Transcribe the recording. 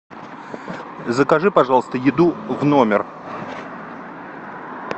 закажи пожалуйста еду в номер